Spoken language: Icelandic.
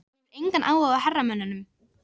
Hún hefur engan áhuga á hermönnunum.